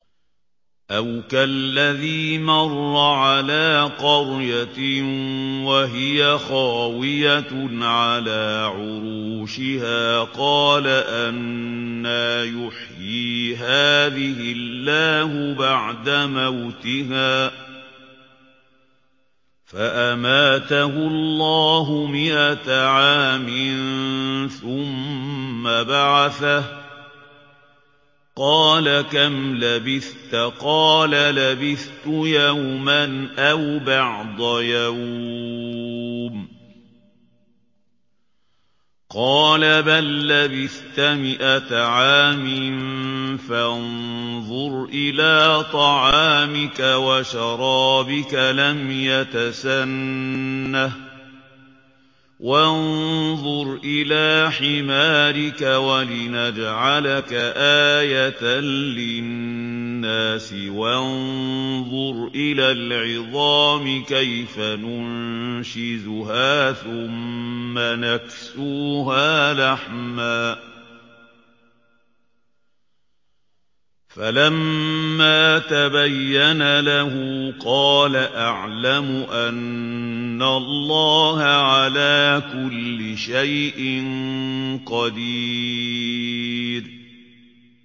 أَوْ كَالَّذِي مَرَّ عَلَىٰ قَرْيَةٍ وَهِيَ خَاوِيَةٌ عَلَىٰ عُرُوشِهَا قَالَ أَنَّىٰ يُحْيِي هَٰذِهِ اللَّهُ بَعْدَ مَوْتِهَا ۖ فَأَمَاتَهُ اللَّهُ مِائَةَ عَامٍ ثُمَّ بَعَثَهُ ۖ قَالَ كَمْ لَبِثْتَ ۖ قَالَ لَبِثْتُ يَوْمًا أَوْ بَعْضَ يَوْمٍ ۖ قَالَ بَل لَّبِثْتَ مِائَةَ عَامٍ فَانظُرْ إِلَىٰ طَعَامِكَ وَشَرَابِكَ لَمْ يَتَسَنَّهْ ۖ وَانظُرْ إِلَىٰ حِمَارِكَ وَلِنَجْعَلَكَ آيَةً لِّلنَّاسِ ۖ وَانظُرْ إِلَى الْعِظَامِ كَيْفَ نُنشِزُهَا ثُمَّ نَكْسُوهَا لَحْمًا ۚ فَلَمَّا تَبَيَّنَ لَهُ قَالَ أَعْلَمُ أَنَّ اللَّهَ عَلَىٰ كُلِّ شَيْءٍ قَدِيرٌ